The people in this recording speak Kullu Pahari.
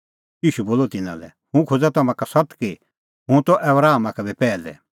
ईशू बोलअ तिन्नां लै हुंह खोज़ा तम्हां का सत्त कि हुंह त आबरामा का बी पैहलै